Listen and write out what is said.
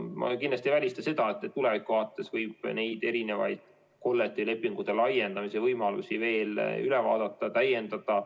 Ma kindlasti ei välista, et tuleviku vaates võib erinevaid kollektiivlepingute laiendamise võimalusi veel üle vaadata ja täiendada.